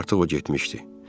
Ancaq artıq o getmişdi.